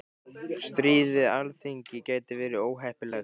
Stríð við Alþingi gæti verið óheppilegt